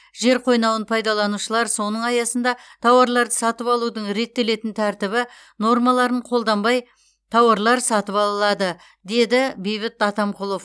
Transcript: жер қойнауын пайдаланушылар соның аясында тауарларды сатып алудың реттелетін тәртібі нормаларын қолданбай тауарлар сатып ала алады деді бейбіт атамқұлов